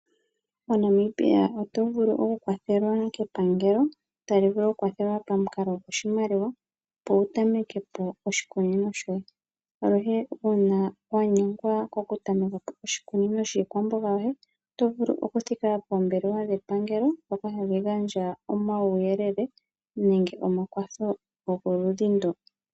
MoNamibia oto vulu okukwathelwa kepangelo, tali vulu oku ku kwathela pamukalo goshimaliwa opo wu tameke po oshikunino shoye. Aluhe uuna wa nyengwa ko ku tameka oshikunino shiikwamboga yoye, oto vulu okutika poombelewa dhepangelo. Dhoka hadhi gandja omauyelele nenge omakwatho goludhi ndo.